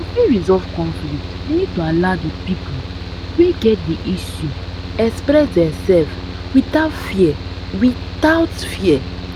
to fit resolve conflict we need to allow di people wey get di issue express themselve without fear without fear